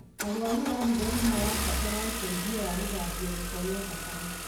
Arwaru a higo nĩmarabatara ũteithio wa gũthambio gĩko gĩa thakame